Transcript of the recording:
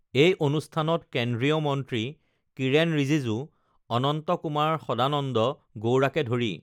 এই অনুষ্ঠানত কেন্দ্ৰীয় মন্ত্ৰী কিৰেণ ৰিজিজু অনন্ত কুমাৰ সদানন্দ গৌড়াকে ধৰি